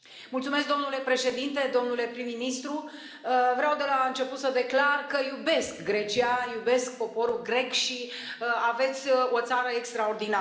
Domnule președinte, domnule prim ministru, vreau de la început să declar că iubesc Grecia, iubesc poporul grec și aveți o țară extraordinară.